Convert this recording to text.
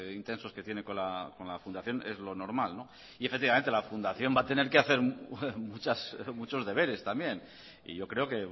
intensos que tiene con la fundación es lo normal y efectivamente la fundación va a tener que hacer muchas muchos deberes también y yo creo que